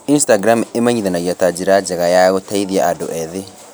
Instagram ĩmenyithanagia ta njĩra njega ya gũteithia andũ ethĩ